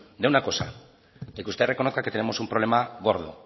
de una cosa de que usted reconozca que tenemos un problema gordo